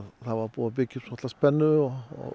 það var búið að byggja upp svolitla spennu og